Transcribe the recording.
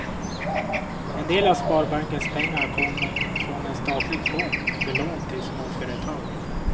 En del av sparbankens pengar kom från en statlig fond för lån till småföretag.